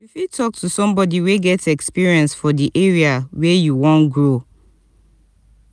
you fit talk to somebody wey get experience for di di area wey you wan grow